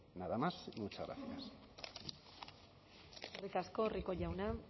nada más y muchas gracias eskerrik asko rico jauna